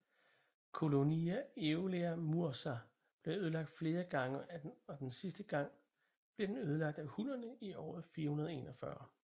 Colonia Aelia Mursa blev ødelagt flere gange og den sidste gang blev den ødelagt af hunnerne i året 441